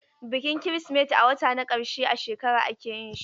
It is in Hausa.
Bikin Kirsimeti a wata na ƙarshe a shekara ake yin shi.